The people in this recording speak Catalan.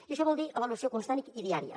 i això vol dir avaluació constant i diària